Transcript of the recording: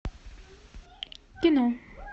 кино